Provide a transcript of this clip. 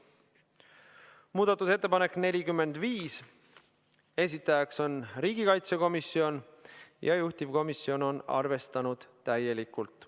Muudatusettepanek nr 45, esitajaks on riigikaitsekomisjon ja juhtivkomisjon on arvestanud seda täielikult.